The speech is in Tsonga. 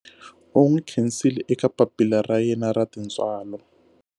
U n'wi khensile eka papila ra yena ra tintswalo.